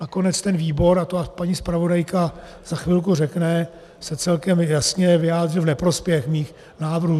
Nakonec ten výbor, a to vám paní zpravodajka za chvilku řekne, se celkem jasně vyjádřil v neprospěch mých návrhů.